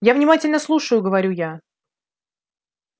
я внимательно слушаю говорю я